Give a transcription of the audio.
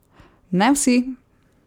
Ne vsi!